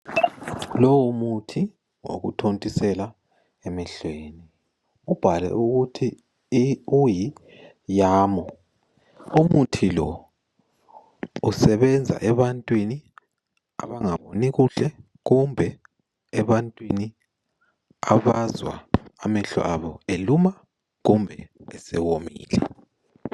Lowo muthi wokuthontisela emehlweni ubhalwe ukuthi yamoo, umuthi lo usebenza ebantwini abangaboni kuhle kumbe ebantwini abazwa amehlo abo eseluma, kumbe esewomile.